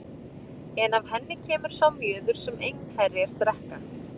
En af henni kemur sá mjöður sem einherjar drekka.